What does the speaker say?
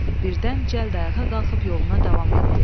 Birdən cəld ayağa qalxıb yoluna davam etdi.